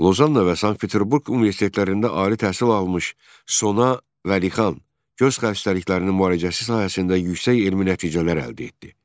Lozanna və Sankt-Peterburq universitetlərində ali təhsil almış Sona Vəlixan göz xəstəliklərinin müalicəsi sahəsində yüksək elmi nəticələr əldə etdi.